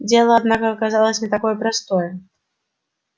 дело однако оказалось не такое простое